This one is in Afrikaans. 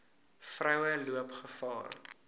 vroue loop gevaar